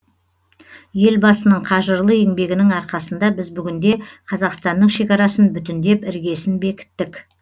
елбасының қажырлы еңбегінің арқасында біз бүгінде қазақстанның шекарасын бүтіндеп іргесін бекіттік